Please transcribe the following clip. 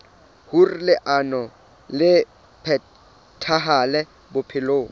hoer leano le phethahale bophelong